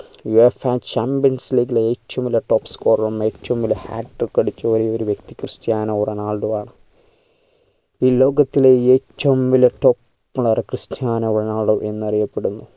UEFAchampions league ലെ ഏറ്റവും വലിയ top scorer ഉം ഏറ്റവും വലിയ hat-trick അടിച്ച ഒരേ ഒരു വ്യക്തി ക്രിസ്റ്റ്യാനോ റൊണാൾഡോയാണ് ഈ ലോകത്തിലെ ഏറ്റവും വലിയ top ക്രിസ്റ്റ്യാനോ റൊണാൾഡോ എന്നറിയപ്പെടുന്നു